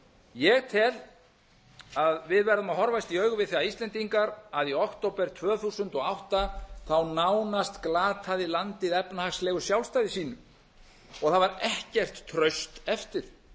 ég tel að við verðum að horfast í augu við það íslendingar að í október tvö þúsund og átta nánast glataði landið efnahagslegu sjálfstæði sínu og það var ekkert traust eftir